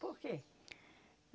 Por quê?